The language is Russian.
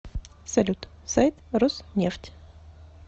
салют сайт роснефть